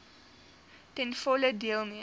ten volle deelneem